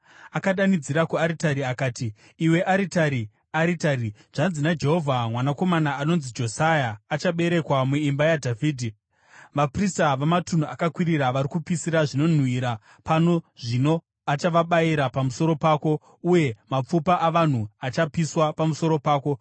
Akadanidzira kuaritari akati, “Iwe aritari, aritari! Zvanzi naJehovha: ‘Mwanakomana anonzi Josia achaberekwa muimba yaDhavhidhi. Vaprista vamatunhu akakwirira vari kupisira zvinonhuhwira pano zvino, achavabayira pamusoro pako, uye mapfupa avanhu achapiswa pamusoro pako.’ ”